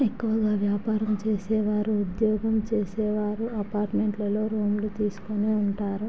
ఎక్కువగా వ్యాపారం చేసేవారు ఉద్యోగం చేసేవారు అపార్టుమెంట్లలో రూములు తీస్కొని ఉంటారు.